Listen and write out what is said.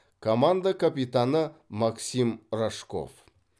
команда капитаны максим рожков